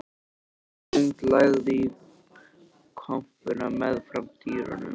Ljósrönd lagði inn í kompuna meðfram dyrunum.